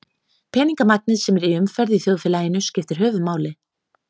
Peningamagnið sem er í umferð í þjóðfélaginu skiptir höfuðmáli.